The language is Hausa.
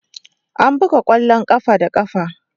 Ana buga kwallon kafa da kafa.